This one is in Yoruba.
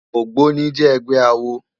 Ógbóni jè ègbè àwó